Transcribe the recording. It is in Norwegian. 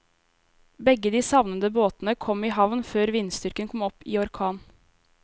Begge de savnede båtene kom i havn før vindstyrken kom opp i orkan.